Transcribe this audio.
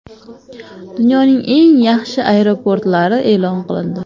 Dunyoning eng yaxshi aeroportlari e’lon qilindi.